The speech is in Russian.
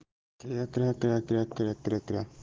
кря кря кря кря кря кря кря